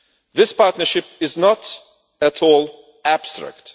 This partnership is not at all abstract.